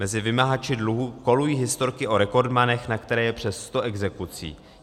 Mezi vymahači dluhů kolují historky o rekordmanech, na které je přes sto exekucí.